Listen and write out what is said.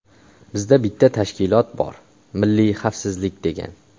Bizda bitta tashkilot bor: milliy xavfsizlik degan.